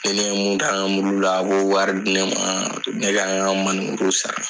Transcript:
Ni ne ye mun k'an ka mulu la a b'o wari di ne ma ne ka n ka manemuruw sara.